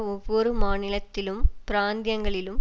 ஒவ்வொரு மாநிலத்திலும் பிராந்தியங்களிலும்